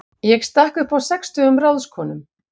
Ég stakk upp á sextugum ráðskonum.